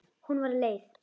Hún var leið.